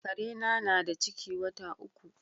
Kare na, na da ciki wata uku.